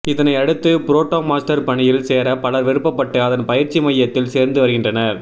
இதனை அடுத்து புரோட்டா மாஸ்டர் பணியில் சேர பலர் விருப்பப்பட்டு அதன் பயிற்சி மையத்தில் சேர்ந்து வருகின்றனர்